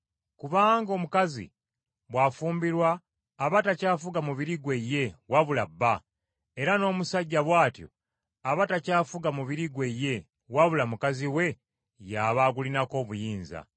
Kubanga omukazi bw’afumbirwa aba takyafuga mubiri gwe ye wabula bba, era n’omusajja bw’atyo aba takyafuga mubiri gwe ye wabula mukazi we y’aba agulinako obuyinza.